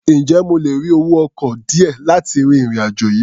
Ǹjẹ́ mo lè rí owó ọkọ̀ díẹ̀ láti ri ìrìn-àjò yìí?